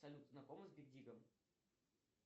салют знакома с биг дигом